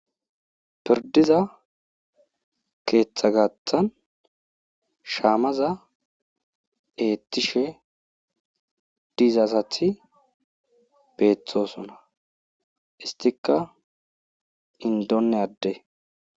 Pirdiza ketha gathan shamaza ethishe diza asati betosona istika indone ade